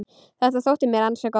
Þetta þótti mér ansi gott.